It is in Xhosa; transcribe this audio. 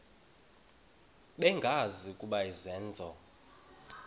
bengazi ukuba izenzo